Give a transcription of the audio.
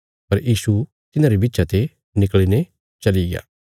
पर यीशु तिन्हारे विच्चा ते निकल़ीने चलिग्या